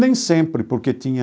Nem sempre, porque tinha